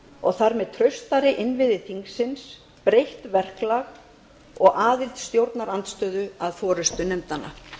og þar með traustari innviði þingsins breytt verklag og aðild stjórnarandstöðu að forustu nefndanna